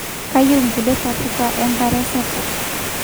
Keyieu nkulie ntapuka enkare sapuk